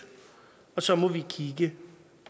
og så må vi kigge